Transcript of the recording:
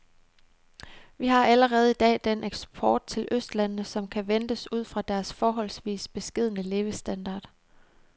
Vi har allerede i dag den eksport til østlandene, som kan ventes ud fra deres forholdsvis beskedne levestandard.